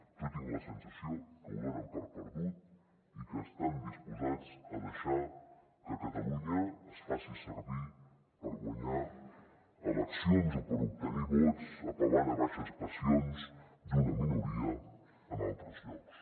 jo tinc la sensació que ho donen per perdut i que estan disposats a deixar que catalunya es faci servir per guanyar eleccions o per obtenir vots apel·lant a baixes passions d’una minoria en altres llocs